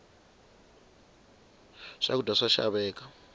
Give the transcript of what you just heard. swakudya swa xaveka